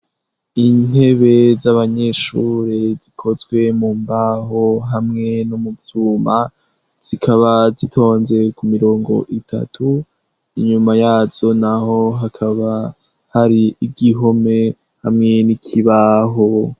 Intebe z'abanyeshure zikozwe mu mbaho hamwe n'umuvyuma zikaba zitonze ku mirongo itatu inyuma yazo, naho hakaba hari igihome hamwe n'ikibaho.